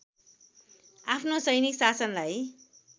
आफ्नो सैनिक शासनलाई